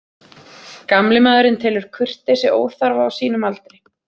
Gamli maðurinn telur kurteisi óþarfa á sínum aldri.